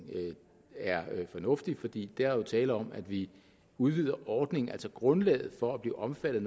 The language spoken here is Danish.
er fornuftig fordi der her er tale om at vi udvider ordningen altså grundlaget for at blive omfattet